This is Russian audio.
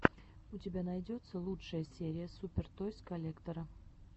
у тебя найдется лучшая серия супер тойс коллектора